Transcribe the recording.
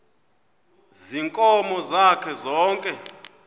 ziinkomo zakhe zonke